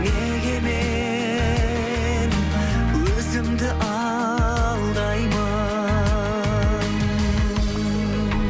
неге мен өзімді алдаймын